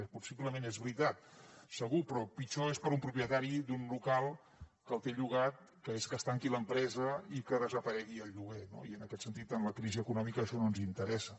i possiblement és veritat segur però pitjor és per a un propietari d’un local que el té llogat que es tanqui l’empresa i que desaparegui el lloguer no i en aquest sentit amb la crisi econòmica això no ens interessa